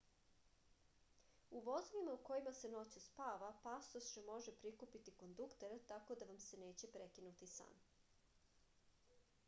u vozovima u kojima se noću spava pasoše može prikupiti kondukter tako da vam se neće prekinuti san